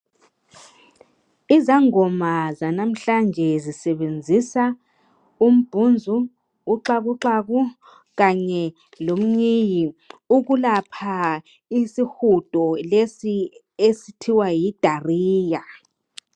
Izangoma zanamhlanje zisebenzisa umbhunzu uxhakuxhaku kanye lomnyii ukulapha isihudo lesi okuthiwa yi Diarrhoea